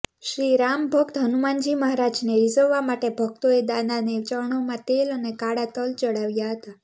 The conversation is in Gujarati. શ્રીરામ ભક્ત હનુમાનજી મહારાજને રિઝવવા માટે ભક્તોએ દાદાને ચરણોમાં તેલ અને કાળા તલ ચડાવ્યા હતા